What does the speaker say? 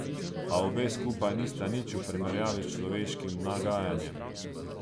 A obe skupaj nista nič v primerjavi s človeškim nagajanjem.